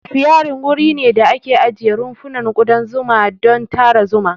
Apiary wuri ne da ake ajiye rumfunan kudan zuma don tara zuma.